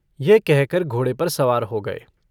यह कहकर घोड़े पर सवार हो गए।